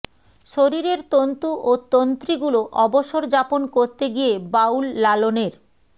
শরীরের তন্তু ও তন্ত্রীগুলো অবসর যাপন করতে গিয়ে বাউল লালনের